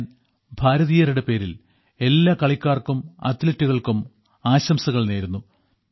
ഞാൻ ഭാരതീയരുടെ പേരിൽ എല്ലാ കളിക്കാർക്കും അത്ലറ്റുകൾക്കും ആശംസകൾ നേരുന്നു